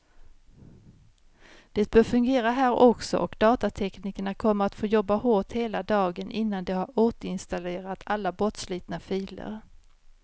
Det bör fungera här också, och datateknikerna kommer att få jobba hårt hela dagen innan de har återinstallerat alla bortslitna filer.